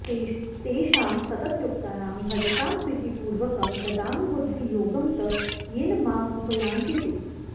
तेषां सततयुक्तानां भजतां प्रीतिपूर्वकम् ददामि बुद्धियोगं तं येन माम उपयान्ति ते